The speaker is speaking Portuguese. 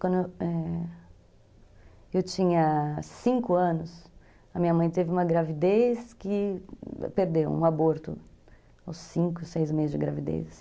Quando eu, é, tinha cinco anos, a minha mãe teve uma gravidez que... Perdeu um aborto aos cinco, seis meses de gravidez.